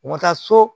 U ka taa so